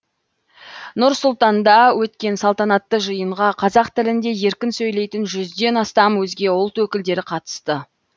нұр сұлтанда өткен салтанатты жиынға қазақ тілінде еркін сөйлейтін жүзден астам өзге ұлт өкілдері қатысты